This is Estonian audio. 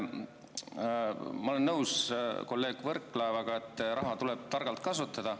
Ma olen nõus kolleeg Võrklaevaga, et raha tuleb targalt kasutada.